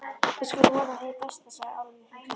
Við skulum vona hið besta, sagði Álfur hughreystandi.